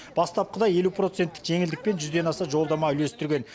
бастапқыда елу проценттік жеңілдікпен жүзден ден аса жолдама үлестірген